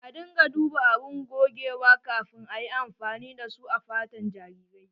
A dinga duba abun gogewa kafin ayi amfani da su a fatan jarirai.